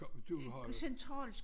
Du har jo